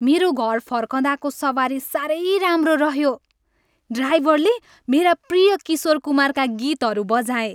मेरो घर फर्कँदाको सवारी साह्रै राम्रो रह्यो। ड्राइभरले मेरा प्रिय किशोर कुमारका गीतहरू बजाए।